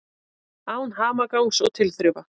Án hamagangs og tilþrifa.